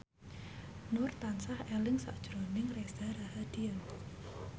Nur tansah eling sakjroning Reza Rahardian